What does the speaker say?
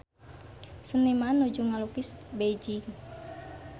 Seniman nuju ngalukis Beijing